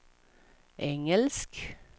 engelsk